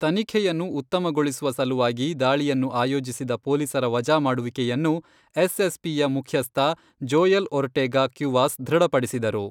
ತನಿಖೆಯನ್ನು ಉತ್ತಮಗೊಳಿಸುವ ಸಲುವಾಗಿ ದಾಳಿಯನ್ನು ಆಯೋಜಿಸಿದ ಪೊಲೀಸರ ವಜಾ ಮಾಡುವಿಕೆಯನ್ನು ಎಸ್.ಎಸ್.ಪಿ ಯ ಮುಖ್ಯಸ್ಥ ಜೋಯಲ್ ಒರ್ಟೆಗಾ ಕ್ಯುವಾಸ್ ದೃಢಪಡಿಸಿದರು.